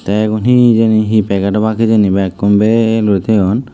te egun he hejeni he packet obag hejeni bekkun bel uri toyon.